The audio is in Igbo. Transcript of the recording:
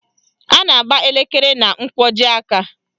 A na-agba elekere na nkwọji aka